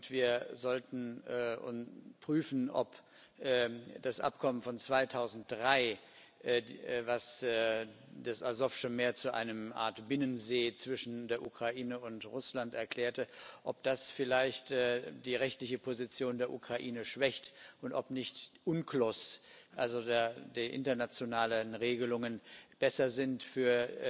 Wir sollten prüfen, ob das Abkommen von 2003, das das Asowsche Meer zu einer Art Binnensee zwischen der Ukraine und Russland erklärte, vielleicht die rechtliche Position der Ukraine schwächt und ob nicht UNCLOS, also die internationalen Regelungen, besser sind für